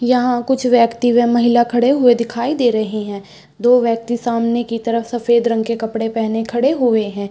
यहाँ कुछ व्यक्ति वे महिला खड़े हुए दिखाई दे रहे हैं दो व्यक्ति सामने की तरफ सफ़ेद रंग के कपड़े पेहने खड़े हुए हैं।